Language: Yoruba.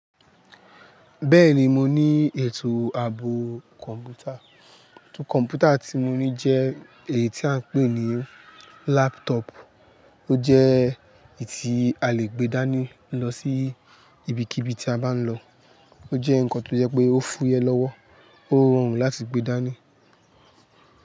Bẹ́ẹ̀ni mo ní ètò ààbò kọ̀m̀pútà, kọ̀m̀pútà tí mo ní jẹ́ èyí tí a ń pè ní laptop, ó jẹ́ èyí tí a lè gbé dání lọ sí ibikíbi tí a bá ń lọ. Ó jẹ́ nǹkan tó yẹ pé ó fúyẹ́ lọ́wọ́, ó rọrùn láti gbé dání.